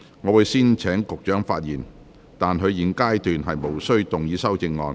我會先請局長發言，但他在現階段無須動議修正案。